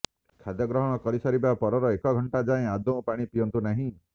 ଖାଦ୍ୟ ଗ୍ରହଣ କରିସାରିବା ପରର ଏକ ଘଣ୍ଟା ଯାଏଁ ଆଦୌ ପାଣି ପିଅନ୍ତୁ ନାହିଁ